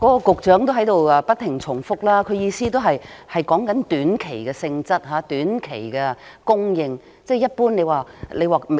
局長的發言內容也不斷重複，他的意思是指短期性質、短期供應，一般來說......